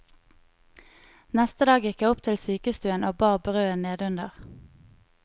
Neste dag gikk jeg opp til sykestuen og bar brødet nedenunder.